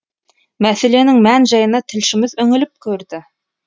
мәселенің мән жайына тілшіміз үңіліп көрді